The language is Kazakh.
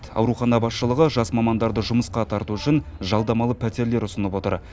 аурухана басшылығы жас мамандарды жұмысқа тарту үшін жалдамалы пәтерлер ұсынып отыр